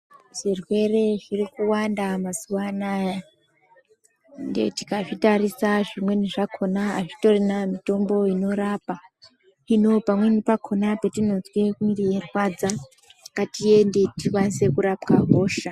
Zvirwere zviri kuwanda mazuwa anaya. Tikazvitarisa zvimweni zvakhona azvitorina mitombo inorapa, hino pamweni pakhona petinozwe mwiri yeirwadza ngatiende tikwanise kurapwa hosha.